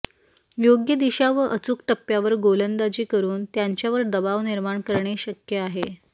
योग्य दिशा व अचूक टप्प्यावर गोलंदाजी करून त्यांच्यावर दबाव निर्माण करणे शक्य आहे